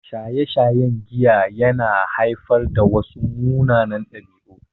Shaye-shayen giya ya na haifar da wasu munanan ɗabi'u